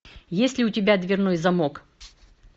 есть ли у тебя дверной замок